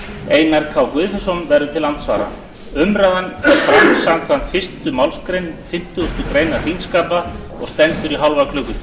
einar k guðfinnsson verður til andsvara umræðan fer fram samkvæmt fyrstu málsgrein fimmtugustu grein þingskapa og stendur í hálfa